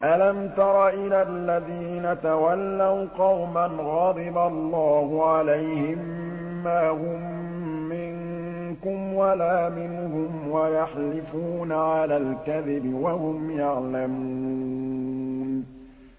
۞ أَلَمْ تَرَ إِلَى الَّذِينَ تَوَلَّوْا قَوْمًا غَضِبَ اللَّهُ عَلَيْهِم مَّا هُم مِّنكُمْ وَلَا مِنْهُمْ وَيَحْلِفُونَ عَلَى الْكَذِبِ وَهُمْ يَعْلَمُونَ